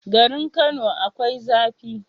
Garin kano akwai zafi